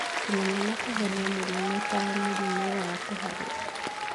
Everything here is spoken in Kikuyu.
Kũmenya na kũhonia mĩrimũ ta mũrimũ wa kũharwo